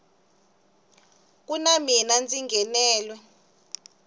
ku na mina ndzi nghenelwe